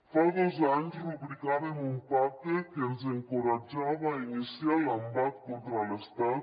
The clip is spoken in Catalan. fa dos anys rubricàvem un pacte que ens encoratjava a iniciar l’embat contra l’estat